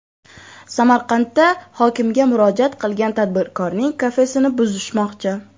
Samarqandda hokimga murojaat qilgan tadbirkorning kafesini buzishmoqchi.